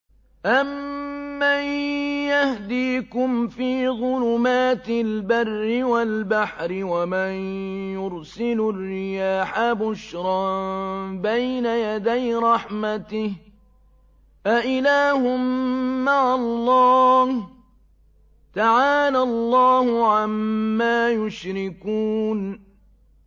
أَمَّن يَهْدِيكُمْ فِي ظُلُمَاتِ الْبَرِّ وَالْبَحْرِ وَمَن يُرْسِلُ الرِّيَاحَ بُشْرًا بَيْنَ يَدَيْ رَحْمَتِهِ ۗ أَإِلَٰهٌ مَّعَ اللَّهِ ۚ تَعَالَى اللَّهُ عَمَّا يُشْرِكُونَ